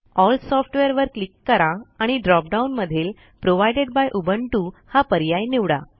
L Softwareवर click करा आणि drop डाउन मधील प्रोव्हाइडेड बाय उबुंटू हा पर्याय निवडा